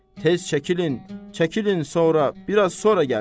Tez çəkilin, çəkilin sonra, biraz sonra gəlin!